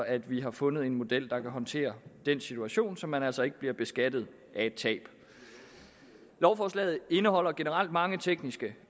at vi har fundet en model der kan håndtere den situation så man altså ikke bliver beskattet af et tab lovforslaget indeholder generelt mange tekniske